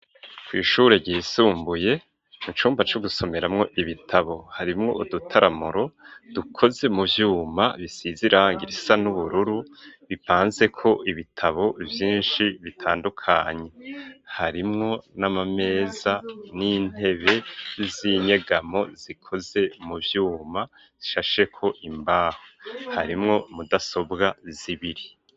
Kw'ishure ryisumbuye mu cumba co gusomeramwo ibitabo, harimwo udutaramuro dukoze mu vyuma bisize irangi risa n'ubururu, bipanzeko ibitabo vyinshi bitandukanye. Harimwo n'amameza n'intebe z'inyegamo zikoze mu vyuma ishasheko imbaho. Harimwo mudasobwa zibiri.